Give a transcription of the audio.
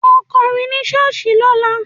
Ó kọrin ní ṣọ́ọ̀ṣì lọ́la!